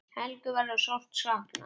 Helgu verður sárt saknað.